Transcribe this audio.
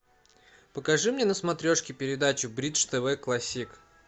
покажи мне на смотрешке передачу бридж тв классик